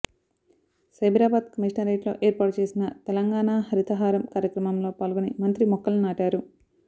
సైబరాబాద్ కమిషనరేట్లో ఏర్పాటు చేసిన తెలంగాణ హరితహారం కార్యక్రమంలో పాల్గొని మంత్రి మొక్కలు నాటారు